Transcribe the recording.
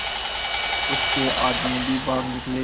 उसके आदमी भी भाग निकले